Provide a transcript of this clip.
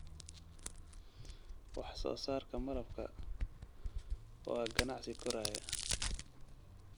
Wax soo saarka malabka waa ganacsi koraya.